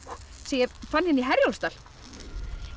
sem ég fann inn í Herjólfsdal